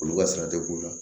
Olu ka sara te b'u la